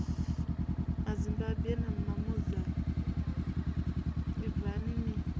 mazimbabwe na mamoza ibvani ni